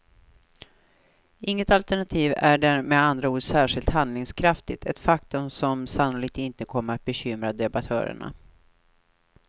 Inget alternativ är med andra ord särskilt handlingskraftigt, ett faktum som sannolikt inte kommer bekymra debattörerna.